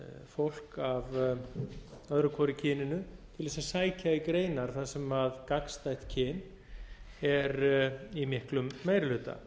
fólk af öðru hvoru kyninu til þess að sækja í greinar þar sem gagnstætt kyn er í miklum meiri hluta